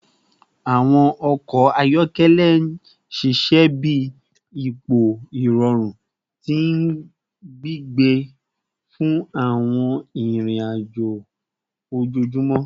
Awọn ọkọ ayọkẹlẹ ṣiṣẹ bi ipo irọrun ti gbigbe fun awọn irin-ajo ojoojumọ